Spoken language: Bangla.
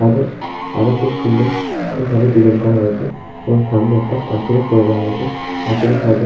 সাইড -এ আরও খুব সুন্দর ওইভাবে ডিজাইন করা হয়েছে এবং সামনে একটা পাঁচির ও করে দেয়া হয়েছে পাঁচিরের সাইড -এ--